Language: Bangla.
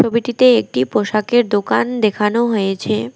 ছবিটিতে একটি পোশাকের দোকান দেখানো হয়েছে।